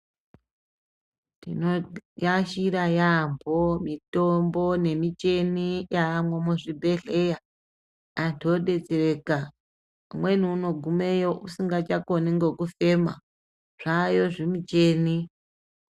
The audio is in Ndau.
Tinoashira yaampho mitombo nemicheni yaamwo muzvibhedhleya. Antu odetsereka. Kumweni unogumeyo usingachakoni ngokufema, zvaayo zvimucheni.